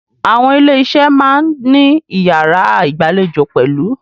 Àwọn ilé iṣé a máà ní iyàrá ìgbàlejò pẹ̀lú.